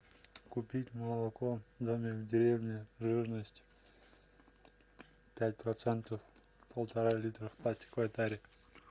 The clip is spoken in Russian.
купить молоко домик в деревне жирность пять процентов полтора литра в пластиковой таре